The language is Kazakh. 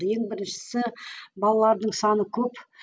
ең біріншісі балалардың саны көп